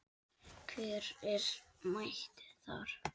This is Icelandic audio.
Hver er mættur þar?